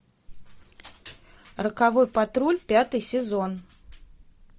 роковой патруль пятый сезон